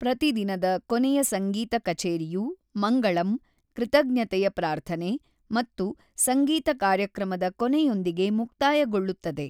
ಪ್ರತಿ ದಿನದ ಕೊನೆಯ ಸಂಗೀತ ಕಛೇರಿಯು ಮಂಗಳಂ, ಕೃತಜ್ಞತೆಯ ಪ್ರಾರ್ಥನೆ ಮತ್ತು ಸಂಗೀತ ಕಾರ್ಯಕ್ರಮದ ಕೊನೆಯೊಂದಿಗೆ ಮುಕ್ತಾಯಗೊಳ್ಳುತ್ತದೆ.